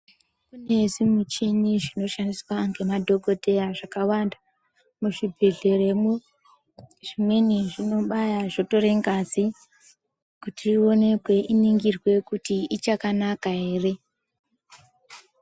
Zveshe zvimichini zvinoshandiswa ngemadhokoteya zvakawanda muzvi bhehleya mwo zvimweni zvinobaya zvotora ngazi kuti ionekwe iningirwe kuti ichakana ere.